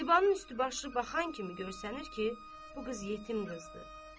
Zibanın üstü başı baxan kimi görsənir ki, bu qız yetim qızdır.